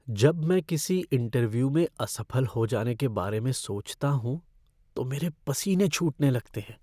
जब मैं किसी इंटरव्यू में असफल हो जाने के बारे में सोचता हूँ तो मेरे पसीने छूटने लगते हैं।